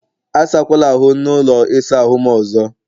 Asakwala ahụ n' ụlọ ịsa ahụ m ọzọ!